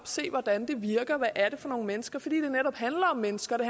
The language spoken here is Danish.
se hvordan det virker og hvad det er for nogle mennesker fordi det netop handler om mennesker det